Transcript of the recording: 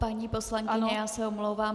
Paní poslankyně, já se omlouvám.